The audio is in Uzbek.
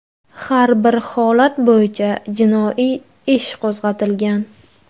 Har bir holat bo‘yicha jinoiy ish qo‘zg‘atilgan.